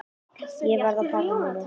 Ég verð að fara núna!